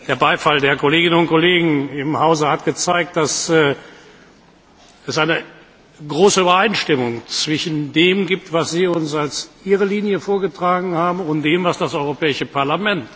Ich glaube, der Beifall der Kolleginnen und Kollegen im Hause hat gezeigt, dass es eine große Übereinstimmung zwischen dem gibt, was Sie uns als Ihre Linie vorgetragen haben, und dem, was das Europäische Parlament